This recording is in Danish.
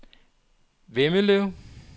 Vemmelev